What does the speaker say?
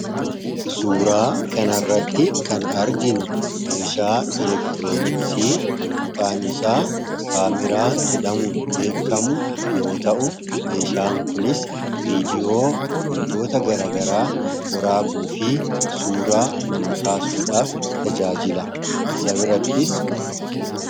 Suuraa kanaa gadii irratti kan argamu meeshaa elektirooniksii maqaan isaas kaameraa jedha. Meeshaan Kunis viidiyoowwan waraabuu fi suuraa kaasuuf kan oolu dha.